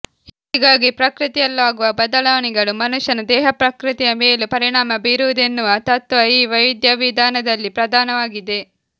ಹೀಗಾಗಿ ಪ್ರಕೃತಿಯಲ್ಲಾಗುವ ಬದಲಾವಣೆಗಳು ಮನುಷ್ಯನ ದೇಹಪ್ರಕೃತಿಯ ಮೇಲೂ ಪರಿಣಾಮ ಬೀರುವುದೆನ್ನುವ ತತ್ತ್ವ ಈ ವೈದ್ಯವಿಧಾನದಲ್ಲಿ ಪ್ರಧಾನವಾಗಿದೆ